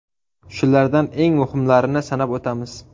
Shulardan eng muhimlarini sanab o‘tamiz.